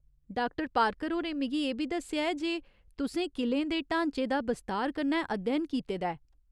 Doctor Parker होरें मिगी एह् बी दस्सेआ ऐ जे तुसें किलें दे ढांचें दा बस्तार कन्नै अध्ययन कीते दा ऐ।